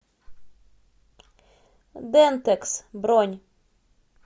дентекс бронь